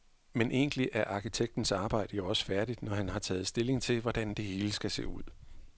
Men egentlig er arkitektens arbejde jo også færdigt, når han har taget stilling til, hvordan det hele skal se ud.